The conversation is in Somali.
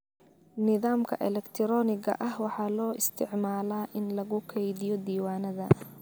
Nidaamka elektiroonigga ah waxaa loo isticmaalaa in lagu keydiyo diiwaannada.